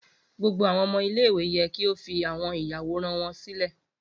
Gbogbo awọn ọmọ ile-iwe yẹ ki o fi awọn iyaworan wọn silẹ!